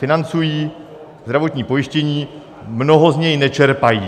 Financují zdravotní pojištění, mnoho z něj nečerpají.